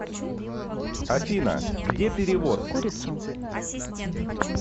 афина где перевод